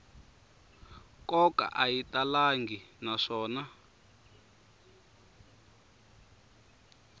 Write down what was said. nkoka a yi talangi naswona